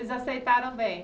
Eles aceitaram bem?